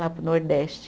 Lá para o nordeste.